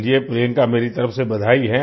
चलिए प्रियंका मेरी तरफ से बधाई है